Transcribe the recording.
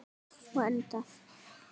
Og endað.